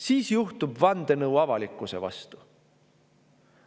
Siis juhtub vandenõu avalikkuse vastu.